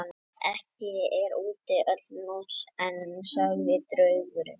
Ekki er úti öll nótt enn, sagði draugurinn.